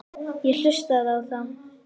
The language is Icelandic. Ég hlustaði á þá.